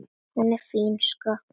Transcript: Hún er fín, sko.